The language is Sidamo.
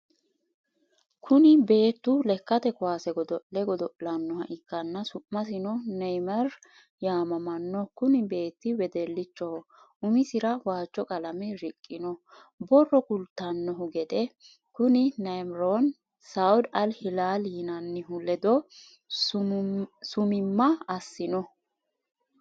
Kuni beettu lekkate kuwase godo'le godo'lannoha ikkanna su'misino Neyimar yaamamanno kuni beetti wedellichoho umisira waajjo qalame riqqinno. borro kultanni gede kuni Neyimarino saud Ali Hilalli yinannihu ledo summimma assinno.